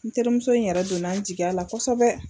N terimuso in yɛrɛ donnan n jigiyala kosɛbɛ.